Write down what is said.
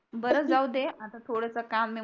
आता थोडस काम आहे